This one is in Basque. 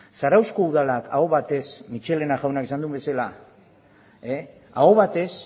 zarauzko udalak aho batez michelena jaunak esan duen bezala aho batez